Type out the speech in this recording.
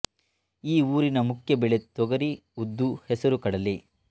ಈ ಊರಿನ ಮುಖ್ಯ ಬೆಳೆ ತೊಗರಿ ಉದ್ದು ಹೆಸರು ಕಡಲೆ